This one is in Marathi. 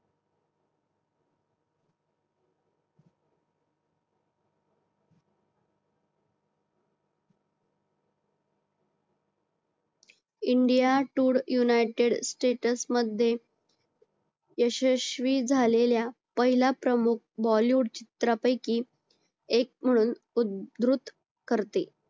india tour united status मध्ये यशस्वी झालेल्या पहिल्या प्रमुख bollywood चित्रपटापैकी एक म्हणून उद्धृत करते